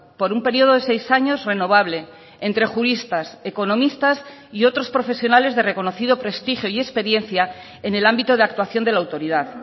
por un periodo de seis años renovable entre juristas economistas y otros profesionales de reconocido prestigio y experiencia en el ámbito de actuación de la autoridad